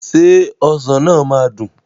Ṣé ọsàn náà máa dùn?